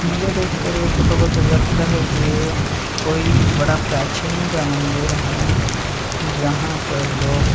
मुझे देखकर यह फोटो को तो लगता है कि ये कोई बड़ा प्राचीन सा मंदिर है जहाँ पर लोग--